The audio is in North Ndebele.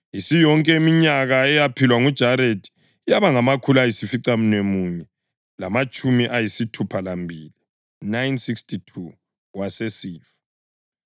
Isiyonke iminyaka eyaphilwa nguJaredi yaba ngamakhulu ayisificamunwemunye lamatshumi ayisithupha lambili (962), wasesifa.